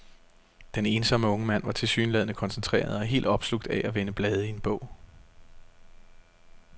Den ensomme unge mand var tilsyneladende koncentreret og helt opslugt af at vende blade i en bog.